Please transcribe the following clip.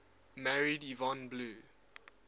married yvonne blue